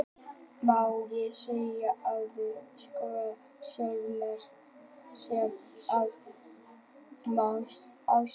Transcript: Má ekki segja Hefurðu skorað sjálfsmark sem að má skrifa á þig?